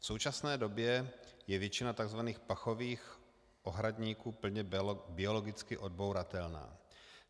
V současné době je většina tzv. pachových ohradníků plně biologicky odbouratelná.